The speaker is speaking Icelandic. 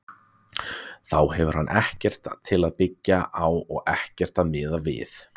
Þá hefur hann ekkert til að byggja á og ekkert að miða við.